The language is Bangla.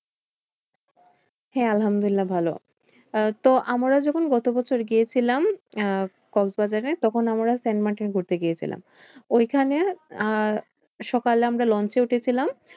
হ্যাঁ আলহামদুল্লিয়াহ ভালো। আহ তো আমরা যখন গত বছর গিয়েছিলাম আহ কক্সবাজারে তখন আমরা সেন্ট মার্টিন ঘুরতে গিয়েছিলাম। ঐখানে আহ সকালে আমরা লঞ্চে উঠেছিলাম।